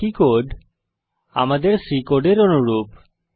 বাকি কোড আমাদের C কোডের অনুরূপ